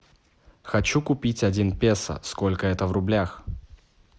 хочу купить один песо сколько это в рублях